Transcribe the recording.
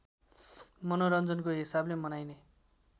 मनोरञ्जनको हिसाबले मनाइने